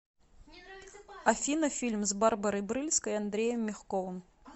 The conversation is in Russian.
афина фильм с барбарой брыльской и андреем мягковым